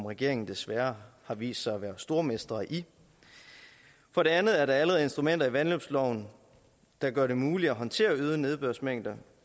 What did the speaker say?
regeringen desværre har vist sig at være stormestre i for det andet er der allerede instrumenter i vandløbsloven der gør det muligt at håndtere øgede nedbørsmængder